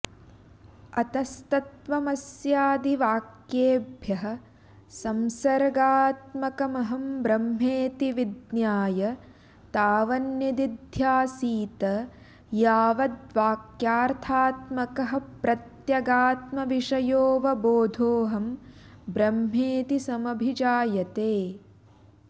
अतस्तत्त्वमस्यादिवाक्येभ्यः संसर्गात्मकमहं ब्रह्मेति विज्ञाय तावन्निदिध्यासीत यावदवाक्यार्थात्मकः प्रत्यगात्मविषयोऽवबोधोऽहं ब्रह्मेति समभिजायते